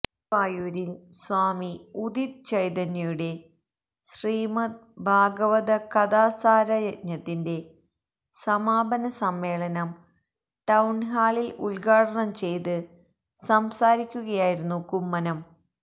ഗുരുവായൂരില് സ്വാമി ഉദിത് ചൈതന്യയുടെ ശ്രീമദ് ഭാഗവതകഥാസാരയജ്ഞത്തിന്റെ സമാപാന സമ്മേളനം ടൌഹാളില് ഉദ്ഘാടനം ചെയ്ത് സംസാരിക്കുകയായിരുന്നു കുമ്മനം